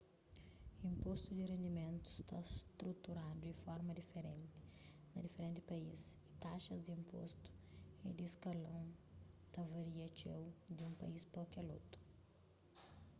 inpostu di rendimentu sta struturadu di forma diferenti na diferenti país y taxas di inpostu y di skalon ta varia txeu di un país pa kel otu